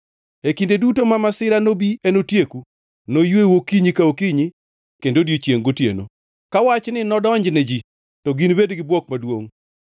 E kinde duto ma masira nobi enotieku; noyweu okinyi ka okinyi kendo odiechiengʼ gotieno.” Ka wachni nodonjne ji, to ginibed gi bwok maduongʼ.